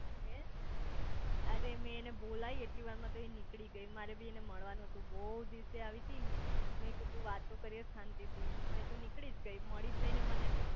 હે અરે મેં એને બોલાઈ એટલી વાર માં તો એ નીકળી ગઈ મારે બી એને મળવાનું હતું બઉ દિવસે આવી તી મેં કીધું વાતો કરીયે શાંતિ થી પણ એ તો નીકળી ગઈ મળીજ નઈ ને મને